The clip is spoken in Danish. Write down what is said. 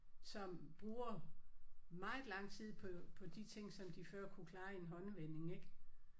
Som bruger meget lang tid på på de ting som de før kunne klare i en håndevending ik